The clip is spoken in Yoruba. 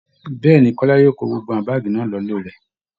Bẹ́ẹ̀ ni, Kọ́lá yóò kó gbogbo àwọn báàgì náà lọlé rẹ̀